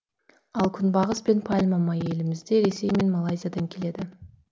ал күнбағыс пен пальма майы елімізге ресей мен малайзиядан келеді